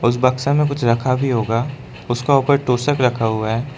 उस बक्शा में कुछ रखा भी होगा उसका ऊपर तोषक रखा हुआ है।